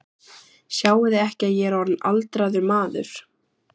Sjáiði ekki að ég er orðinn aldraður maður?